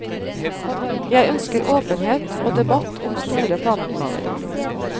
Jeg ønsker åpenhet og debatt om store planoppgaver.